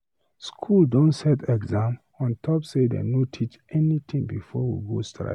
School don set exam on top say dey no teach anything before we go strike